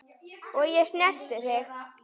Og ég snerti þig.